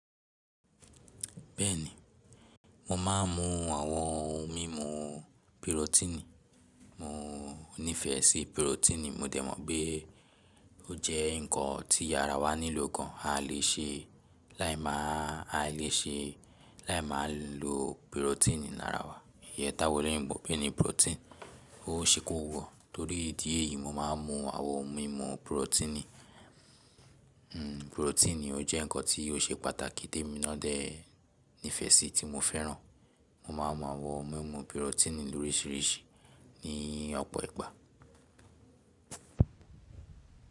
Bẹ́ẹ̀ni, mo máa ń mu àwọn ohun mímu pirotini. Mo nífẹ̀ẹ́ si pirotini, mo dẹ̀ mọ̀ pé ó jẹ́ nǹkan tí ara wa nílò gan. A lè ṣe, láì máa a lè ṣe, láì máa lo pirotini lára wa. Ìyẹ́ táwón oloyinbo npe ni "protein", ó ṣẹ́ kó wo. Torí̀ ìdí èyí, mo máa ń mu àwọn ohun mímu pirotini. Hmm, pirotini ó jẹ́ nǹkan tí ó ṣe pàtàkì té mi de, nífẹ̀ẹ́ síi ti mo fẹ́ràn. Mo máa ń mu àwọn ohun mímu pirotini loríṣiríṣi ní ọ̀pọ̀ ìgbà.